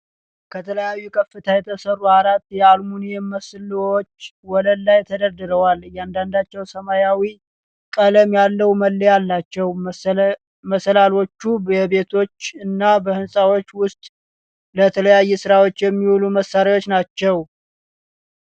ከተለያየ ከፍታ የተሰሩ አራት የአሉሚኒየም መሰላልዎች ወለል ላይ ተደርድረዎል። እያንዳንዳቸው ሰማያዊ ቀለም ያለው መለያ አላቸው። መሰላልዎቹ በቤቶች እና በህንጻዎች ውስጥ ለተለያዩ ሥራዎች የሚውሉ መሳሪያዎች ናቸው።